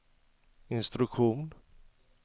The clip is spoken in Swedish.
instruktion